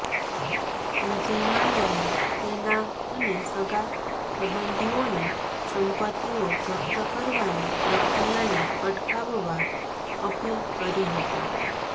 વિજય માલ્યાએ તેના અને સગા સંબંધીઓની સંપત્તિઓ જપ્ત કરવાની પ્રક્રિયાને અટકાવવા અપીલ કરી હતી